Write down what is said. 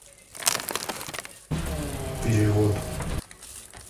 перевод